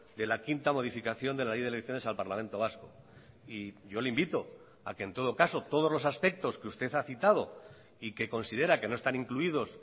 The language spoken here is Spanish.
de la quinta modificación de la ley de elecciones al parlamento vasco y yo le invito a que en todo caso todos los aspectos que usted ha citado y que considera que no están incluidos